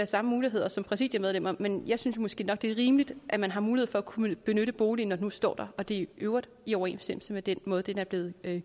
samme muligheder som præsidiemedlemmer men jeg synes måske nok det er rimeligt at man har mulighed for at kunne benytte boligen når nu står der og det i øvrigt er i overensstemmelse med den måde den er blevet